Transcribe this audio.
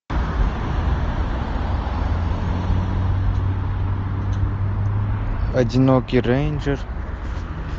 одинокий рейнджер